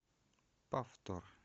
повтор